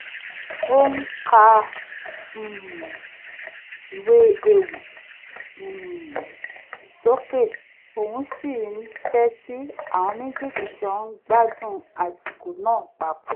ó ń ka um ìwé ewì um sókè òun sì ń tẹ́tí àwọn méjéèjì ń jọ ń gbádùn àsìkò náà papọ̀